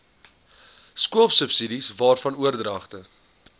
skoolsubsidies waarvan oordragte